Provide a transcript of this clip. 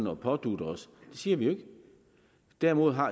at pådutte os det siger vi jo ikke derimod